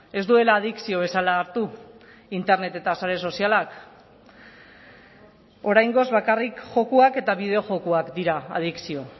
ez duela adikzio bezala hartu internet eta sare sozialak oraingoz bakarrik jokoak eta bideo jokoak dira adikzio